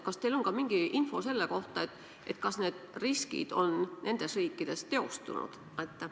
Kas teil on ka mingi info selle kohta, kas need riskid on nendes riikides teostunud?